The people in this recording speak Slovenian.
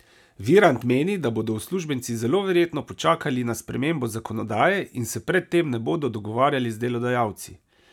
Virant meni, da bodo uslužbenci zelo verjetno počakali na spremembo zakonodaje in se pred tem ne bodo dogovarjali z delodajalci.